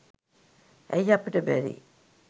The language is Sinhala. ඇයි අපිට බැරි